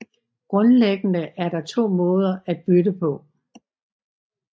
Grundlæggende er der to måder at bytte på